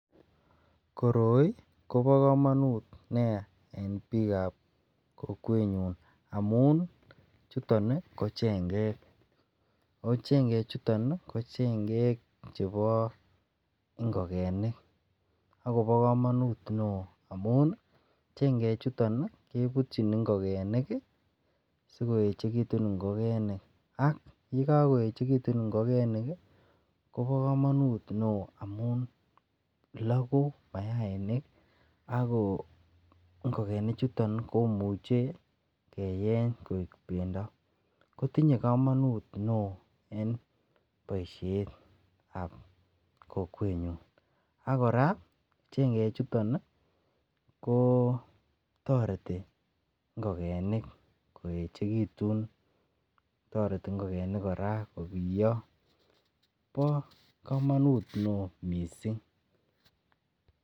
koroi kobogomonuut niyaa en biim ab kokweet nyuun amun chuton iih ko chengek, ooh chengek chuton iih ko chengeeek chebo ngogenik agobo komonuut neoo amuun iiih chengeek chuton kebutyin ngogenik sigoechegitun ngogenik, ak yegagoechegitun ngogenik iih mobo komonuut neoo amun loguu mayainik, agoo ngogenik chuton iih komuche keyeeny koek bendo kotinye komonuut neoo en boishet ab kokweet nyuun, ak koraa chengeek chuton iih kotoreti ngogenik koechegitun, toreti ngogenik koraa kobiyoo, bo komonuut neoo mising,